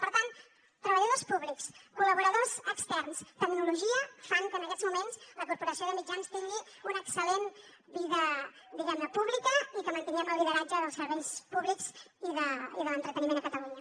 per tant treballadors públics col·laboradors externs tecnologia fan que en aquests moments la corporació de mitjans tingui una excel·lent vida diguem ne pública i que mantinguem el lideratge dels serveis públics i de l’entreteniment a catalunya